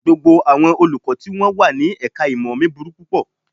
Gbogbo àwọn Olùkọ́ tí wọ́n wà ní ẹ̀ka-ìmọ̀ mi burú púpọ̀